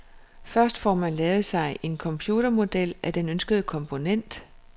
Først får man lavet sig en computermodel af den ønskede komponent.